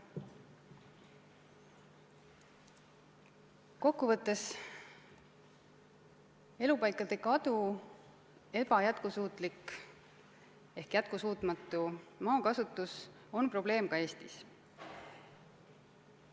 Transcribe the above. Kokku võttes on elupaikade kadu ja jätkusuutmatu maakasutus probleem ka Eestis.